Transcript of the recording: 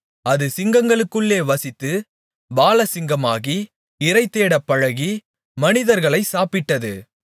அது சிங்கங்களுக்குள்ளே வசித்து பாலசிங்கமாகி இரைதேடப் பழகி மனிதர்களைச் சாப்பிட்டது